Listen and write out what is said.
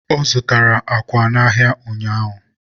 ọ zụtara àkwà n'ahịa ụnyaahụ.